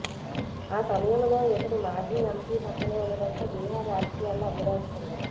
ఆ సమయం లో ఇతడు మాజీ ఎంపీ పక్కనే ఉండడంతో బీహార్ రాజకీయాల్లో అగ్గి రాజుకుంది